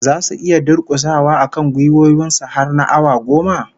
Zasu iya durkusawa akan gwiwoyin su har na awa goma?